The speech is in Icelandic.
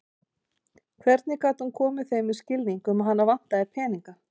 Hvernig gat hún komið þeim í skilning um að hana vantaði peninga?